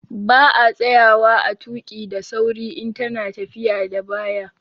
Ba a tsayawa a tuƙi daa sauri in ta na tafiya da baya